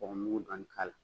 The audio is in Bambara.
Kɔgɔmugu dɔɔnin k'a la